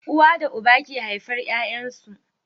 Uwa da uba ke haifar Yayan su